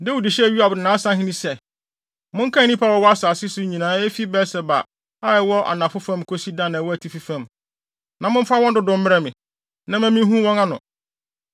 Dawid hyɛɛ Yoab ne nʼasahene sɛ, “Monkan nnipa a wɔwɔ asase yi so nyinaa efi Beer-Seba a ɛwɔ anafo fam kosi Dan a ɛwɔ atifi fam, na momfa wɔn dodow mmrɛ me, na ɛmma minhu wɔn ano.”